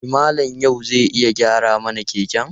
E, Malam Ya'u zai iya gyara mana keken.